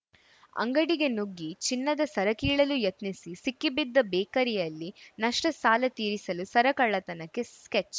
ಅಂಗಡಿಗೆ ನುಗ್ಗಿ ಚಿನ್ನದ ಸರ ಕೀಳಲು ಯತ್ನಿಸಿ ಸಿಕ್ಕಿ ಬಿದ್ದ ಬೇಕರಿಯಲ್ಲಿ ನಷ್ಟ ಸಾಲ ತೀರಿಸಲು ಸರ ಕಳ್ಳತನಕ್ಕೆ ಸ್ಕೆಚ್‌